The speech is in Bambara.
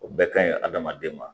O bɛɛ ka ɲi hadamaden ma